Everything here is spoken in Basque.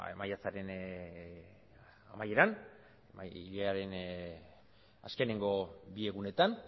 maiatzaren amaieran hilearen azkeneko bi egunetan